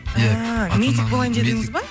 ііі медик болайын дедіңіз ба